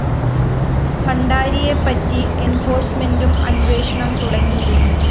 ഭണ്ഡാരിയെപ്പറ്റി എന്‍ഫോഴ്‌സ്‌മെന്റും അന്വേഷണം തുടങ്ങിയിരുന്നു